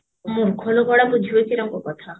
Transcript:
ମୂର୍ଖଲୋକଗୁଡା ବୁଝିବେ କେରଙ୍କ କଥା